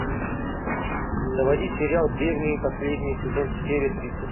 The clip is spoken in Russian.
заводи сериал древние последний сезон серия тридцать